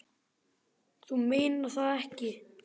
Þú meinar það ekki.